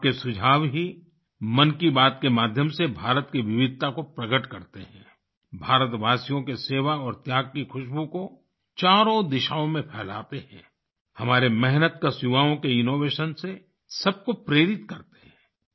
आपके सुझाव ही मन की बात के माध्यम से भारत की विविधता को प्रकट करते हैं भारतवासियों के सेवा और त्याग की ख़ुशबू को चारों दिशाओं में फैलाते हैं हमारे मेहनतकश युवाओं के इनोवेशन से सब को प्रेरित करते हैं